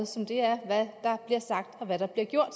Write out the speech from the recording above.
som det er hvad det der bliver sagt og hvad der bliver gjort